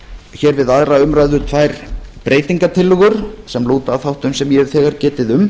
hér við aðra umræðu tvær breytingartillögur sem lúta að þáttum sem ég hef þegar getið um